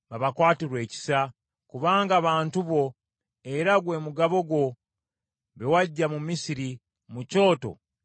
kubanga bantu bo era gwe mugabo gwo, be waggya mu Misiri, mu kyoto ekisaanuusa ekyuma.